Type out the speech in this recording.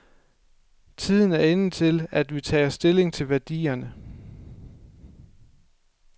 Tiden er inde til, at vi tager stilling til værdierne.